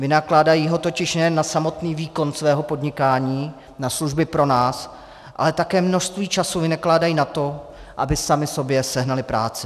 Vynakládají ho totiž nejen na samotný výkon svého podnikání, na služby pro nás, ale také množství času vynakládají na to, aby sami sobě sehnali práci.